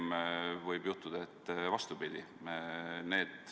Pigem võib juhtuda vastupidi.